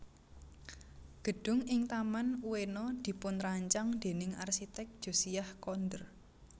Gedung ing Taman Ueno dipunrancang déning arsitek Josiah Conder